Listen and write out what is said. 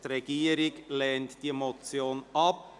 Die Regierung lehnt diese Motion ab.